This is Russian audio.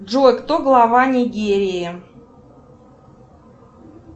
джой кто глава нигерии